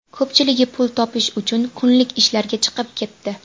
Ko‘pchiligi pul topish uchun kunlik ishlarga chiqib ketdi.